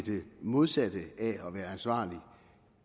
modsatte af at være ansvarlig